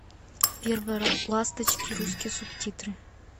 первые ласточки русские субтитры